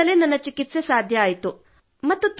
card ನಿಂದಲೇ ನನ್ನ ಚಿಕಿತ್ಸೆ ಸಾಧ್ಯವಾಯಿತು